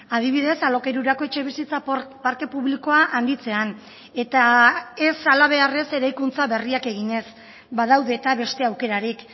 adibidez alokairurako etxebizitza parke publikoa handitzean eta ez halabeharrez eraikuntza berriak eginez badaude eta beste aukerarik